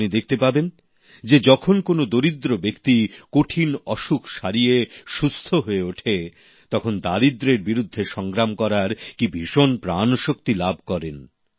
আপনি দেখতে পাবেন যখন কোনও দরিদ্র ব্যক্তি কঠিন অসুখ সারিয়ে সুস্থ হয়ে ওঠে তখন দারিদ্রের বিরুদ্ধে সংগ্রাম করার কি ভীষণ প্রাণশক্তি তিনি লাভ করেন